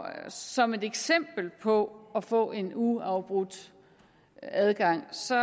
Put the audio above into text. som et eksempel på at få en uafbrudt adgang så